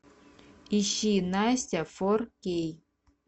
ищи настя фор кей